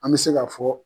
An bɛ se ka fɔ